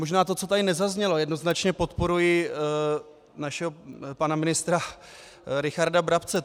Možná to, co tady nezaznělo - jednoznačně podporuji našeho pana ministra Richarda Brabce.